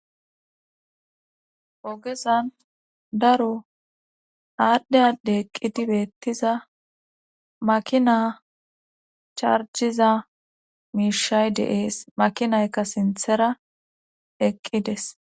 ogezan daro aadde adde eqqidibeettiza makina charjiza miishay deees makinaykka sinthera eqqides